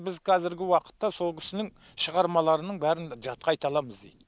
біз қазіргі уақытта сол кісінің шығармаларының бәрін жатқа айта аламыз дейді